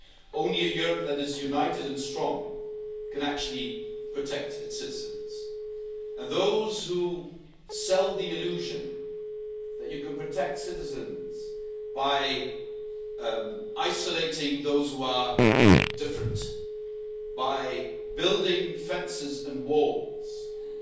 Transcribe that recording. Only a Europe that is united and strong can actually protect its citizens. And those who sell the illusion that you can protect citizens by isolating those who are different, by building fences and walls, and